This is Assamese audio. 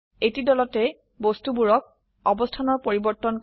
এটি দলতে বস্তুবোৰক অবস্থানৰ পৰিবৰ্তন কৰা